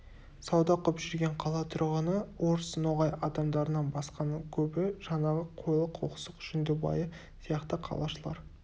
сауда қып жүрген қала тұрғыны орыс ноғай адамдарынан басқаның көбі жаңағы қойлы қоқсық жүндібайы сияқты қалашылар